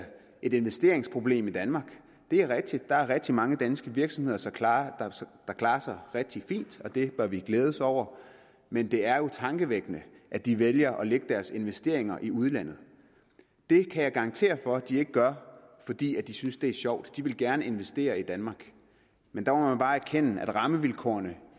et investeringsproblem i danmark det er rigtigt der er rigtig mange danske virksomheder der klarer sig rigtig fint og det bør vi glæde os over men det er jo tankevækkende at de vælger at lægge deres investeringer i udlandet det kan jeg garantere for de ikke gør fordi de synes det er sjovt de vil gerne investere i danmark men der må man bare erkende at rammevilkårene